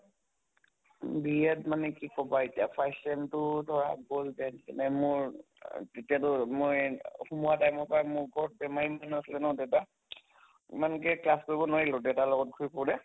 B Ed মানে কি কʼবা এতিয়া first sem তো ধৰা গʼল যেন তেন এই মোৰ তেতিয়াতো মই সমোৱা time ৰ পৰা মোৰ বৰ বেমাৰি মানুহ আছিলে ন দেউতা । ইমানকে class কৰিব নোৱাৰিলো দেউতাৰ লগত ঘুৰি ফুৰোতে